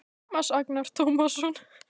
Tómas Agnar Tómasson